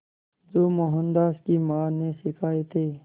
जो मोहनदास की मां ने सिखाए थे